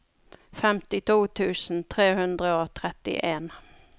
femtito tusen tre hundre og tretten